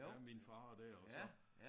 Ja min far og der og så